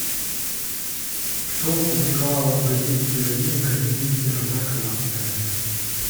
что опубликовала в газете героиня комедии сирота казанская